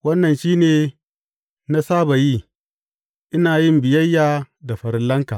Wannan shi ne na saba yi, ina yin biyayya da farillanka.